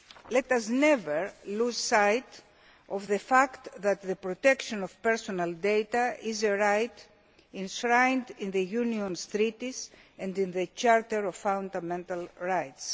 Let us never lose sight of the fact that the protection of personal data is a right enshrined in the Union's Treaties and in the Charter of Fundamental Rights.